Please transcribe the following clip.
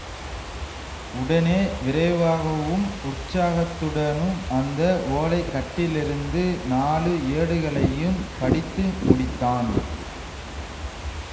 உடனே விரைவாகவும் உற்சாகத்துடனும் அந்த ஓலைக்கட்டிலிருந்து நாலு ஏடுகளையும் படித்து முடித்தான்